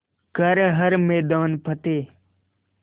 कर हर मैदान फ़तेह